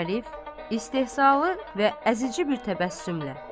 Arif istehzalı və əzici bir təbəssümlə.